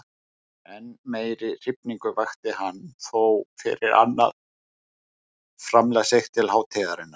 Enn meiri hrifningu vakti hann þó fyrir annað framlag sitt til hátíðarinnar.